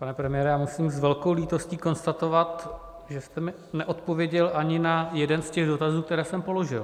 Pane premiére, já musím s velkou lítostí konstatovat, že jste mi neodpověděl ani na jeden z těch dotazů, které jsem položil.